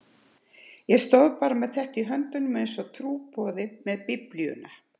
Ég stóð bara með þetta í höndunum einsog trúboði með Biblíuna.